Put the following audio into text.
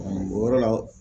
o yɔrɔ la